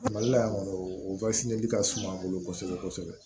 Mali la yan kɔni o ka suma an bolo kosɛbɛ kosɛbɛ